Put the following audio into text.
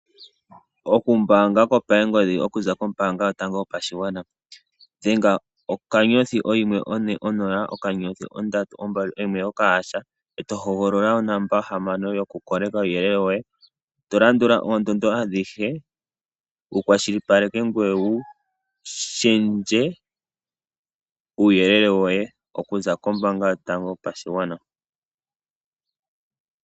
Okumbaanga kopangodhi okuza kombaanga yotango yopashigwana, dhenga okanyothi, ohimwe, one, onola, okanyothi, ondatu, ombali, ohimwe nokahasha ee to hogolola onomola hamano yokukoleka uuyelele woye tolandula oondondo adhishe wukwashilipaleke ngoye wushendje uuyelele awushe okuza kombaanga yopashigwana.